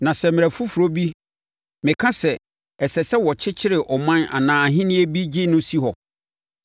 Na sɛ mmerɛ foforɔ bi meka sɛ, ɛsɛ sɛ wɔkyekyere ɔman anaa ahennie bi gye no si hɔ,